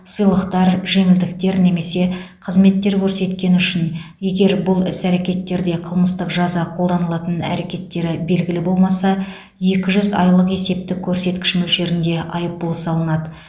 сыйлықтар жеңілдіктер немесе қызметтер көрсеткені үшін егер бұл іс әрекеттерде қылмыстық жаза қолданылатын әрекеттері белгілі болмаса екі жүз айлық есептік көрсеткіш мөлшерінде айыппұл салынады